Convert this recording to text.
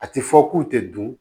A ti fɔ k'u tɛ dun